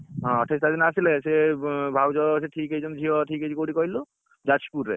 ହଁ ଅଠେଇଶି ତାରିଖ ଦିନ ଆସିଲେ ସେ ଭାଉଜ ସିଏ ଠିକ ହେଇଛନ୍ତି ଝିଅ ଠିକ ହେଇଛି କୋଉଠି କହିଲୁ ଯାଜପୁରରେ